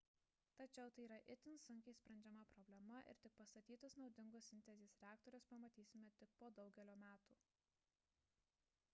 tačiau tai yra itin sunkiai sprendžiama problema ir pastatytus naudingus sintezės reaktorius pamatysime tik po daugelio metų